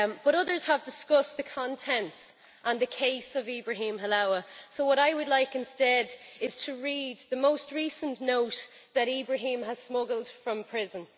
Others have discussed the contents and the case of Ibrahim Halawa, so what I would like instead is to read the most recent note that Ibrahim had smuggled from prison.